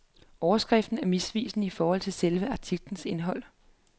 Overskriften er misvisende i forhold til selve artiklens indhold.